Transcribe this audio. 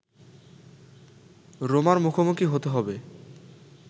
রোমার মুখোমুখি হতে হবে